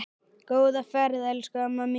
Góða ferð elsku amma mín.